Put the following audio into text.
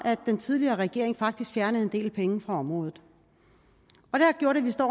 at den tidligere regering faktisk fjernede en del penge fra området